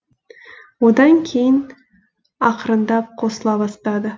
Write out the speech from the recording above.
одан кейін ақырындап қосыла бастады